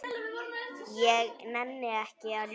Ég nenni ekki að ljúga.